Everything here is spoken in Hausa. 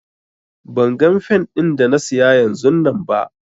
Ban gan fen din da na siya yanzunnan ba.